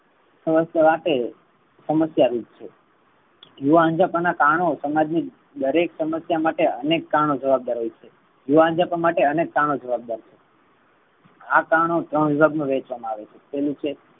સમસ્યા રૂપ છે. યુવા અંજપણ ના કારણો સમાજ ની દરેક સમસ્યા માટે અનેક કારણો જવાબદાર હોઈ છે. યુવા અંજપણ માટે અનેક કારણો જવાબદાર હોઈ છે. આ કારણો ત્રણ વિભાગ મા વેહેંચાવા મા આવે છે પહેલું છે.